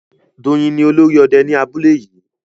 Doyin ni olórí òde ní abúlé yìí